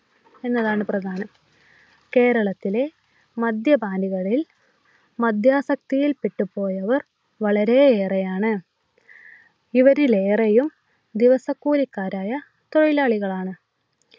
എന്നതാണ് പ്രധാനം കേരളത്തിലെ മദ്യപാനികളിൽ മദ്യാ സക്തി പെട്ടുപോയവർ വളരെയേറെയാണ്. ഇവരിലേറെയും ദിവസക്കൂലിക്കാരായ തൊഴിലാളികൾ ആണ്.